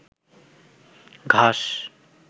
ঘাস